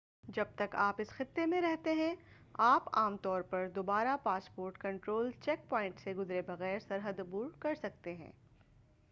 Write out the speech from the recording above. جب تک آپ اس خطے میں رہتے ہیں آپ عام طور پر دوبارہ پاسپورٹ کنٹرول چیک پوائنٹ سے گزرے بغیر سرحد عبور کرسکتے ہیں